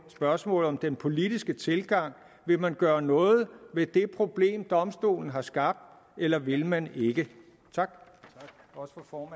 spørgsmålet om den politiske tilgang vil man gøre noget ved det problem domstolen har skabt eller vil man ikke tak også for